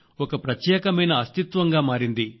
ఒక ప్రత్యేకమైన అస్తిత్వంగా మారింది